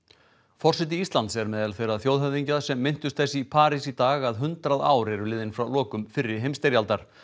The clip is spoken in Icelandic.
forseti Íslands er á meðal þeirra þjóðhöfðingja sem minntust þess í París í dag að hundrað ár eru liðin frá lokum fyrri heimsstyrjaldar